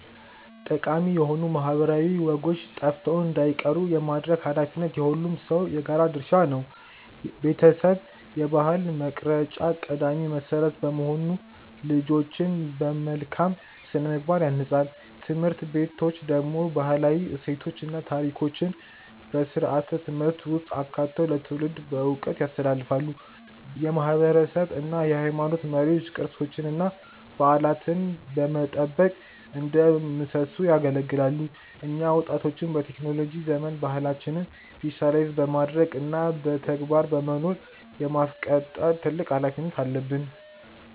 ጠቃሚ የሆኑ ማህበረሰባዊ ወጎች ጠፍተው እንዳይቀሩ የማድረግ ኃላፊነት የሁሉም ሰው የጋራ ድርሻ ነው። ቤተሰብ የባህል መቅረጫ ቀዳሚ መሰረት በመሆኑ ልጆችን በመልካም ስነ-ምግባር ያንጻል። ትምህርት ቤቶች ደግሞ ባህላዊ እሴቶችን እና ታሪኮችን በስርዓተ-ትምህርት ውስጥ አካተው ለትውልድ በዕውቀት ያስተላልፋሉ። የማህበረሰብ እና የሃይማኖት መሪዎች ቅርሶችንና በዓላትን በመጠበቅ እንደ ምሰሶ ያገለግላሉ። እኛ ወጣቶችም በቴክኖሎጂ ዘመን ባህላችንን ዲጂታይዝ በማድረግ እና በተግባር በመኖር የማስቀጠል ትልቅ ኃላፊነት አለብን።